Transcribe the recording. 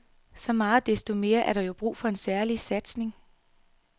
Så meget desto mere er der jo brug for en særlig satsning.